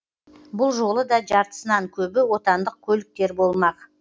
бұл жолы да жартысынан көбі отандық көліктер болмақ